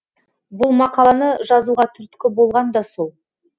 бұл мақаланы жазуға түрткі болған да сол